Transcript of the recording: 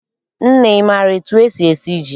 Nne, ị maara etu esi esi ji?